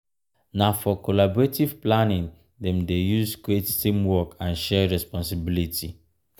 na for collaborative planning dem dey use create teamwork and shared responsibility.